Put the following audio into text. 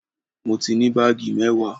Mo ní baagi mewaa?